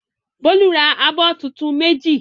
Bólú ra abọ́ tuntun méjì?